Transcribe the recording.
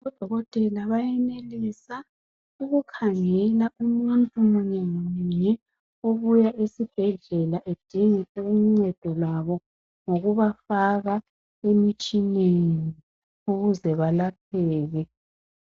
Odokotela bayenelisa ukukhangela umuntu munye ngamunye obuya esibhedlela edinga uncedo lwabo ngokuba faka emitshineni ukuze balapheke.